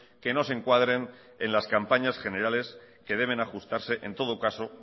que no se encuadren en las campañas generales que deben ajustarse en todo caso